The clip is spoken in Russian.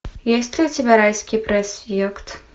есть ли у тебя райский проспект